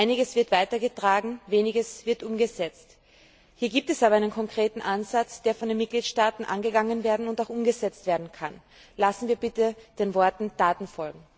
Einiges wird weitergetragen, weniges wird umgesetzt. Hier gibt es aber einen konkreten Ansatz, der von den Mitgliedstaaten angegangen und auch umgesetzt werden kann. Lassen wir bitte den Worten Taten folgen.